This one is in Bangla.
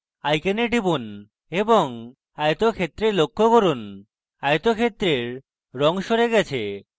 icon টিপুন এবং আয়তক্ষেত্রে পরিবর্তন লক্ষ্য করুন আয়তক্ষেত্রের রঙ সরে গেছে